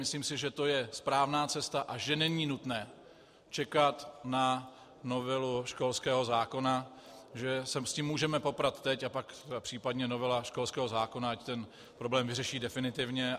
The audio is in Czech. Myslím si, že to je správná cesta a že není nutné čekat na novelu školského zákona, že se s tím můžeme poprat teď, a pak případně novela školského zákona ať ten problém vyřeší definitivně.